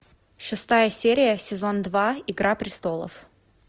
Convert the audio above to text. шестая серия сезон два игра престолов